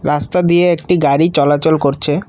রাস্তা দিয়ে একটি গাড়ি চলাচল করছে।